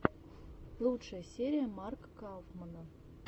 лучшая серия марка кауфмана